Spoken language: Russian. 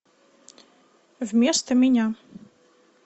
вместо меня